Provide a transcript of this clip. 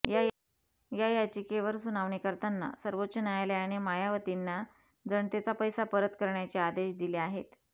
या याचिकेवर सुनावणी करताना सर्वोच्च न्यायालयाने मायावतींना जनतेचा पैसा परत करण्याचे आदेश दिले आहेत